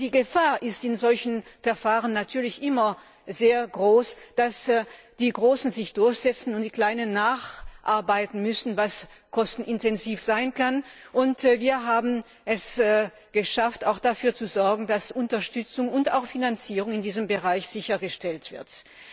Denn in solchen Verfahren ist die Gefahr natürlich immer sehr groß, dass die Großen sich durchsetzen und die Kleinen nacharbeiten müssen, was kostenintensiv sein kann. Wir haben es auch geschafft, dafür zu sorgen, dass die Unterstützung und auch die Finanzierung in diesem Bereich sichergestellt werden.